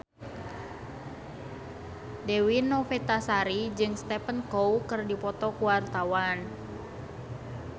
Dewi Novitasari jeung Stephen Chow keur dipoto ku wartawan